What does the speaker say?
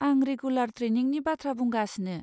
आं रेगुलार ट्रेइनिंनि बाथ्रा बुंगासिनो।